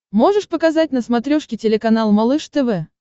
можешь показать на смотрешке телеканал малыш тв